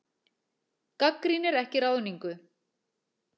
Gagnrýnir ekki ráðningu